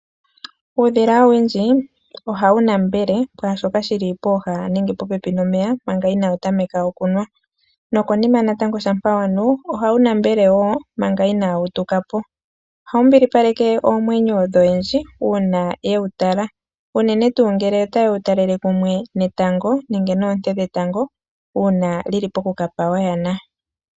Uudhila owundji ohawu lambwele kwaashoka shili pooha dhomeya manga inawu tameka okunwa. Shampa wa mana okunwa ohawu lambele manga inawu tuka po, ohawu mbilipaleke oomwenyo dhoyendji uuna ta yewu talele kumwe netango unene tuu ngele li li poku kapa oyana.